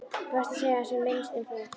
Best að segja sem minnst um það.